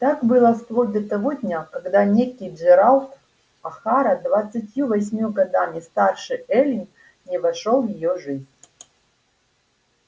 так было вплоть до того дня когда некий джералд охара двадцатью восемью годами старше эллин не вошёл в её жизнь